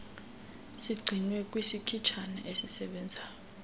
sigcinwe kwisikhitshana esisebenzayo